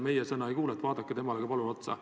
Meie sõnu ta ei kuulanud, vaadake palun temale ka otsa!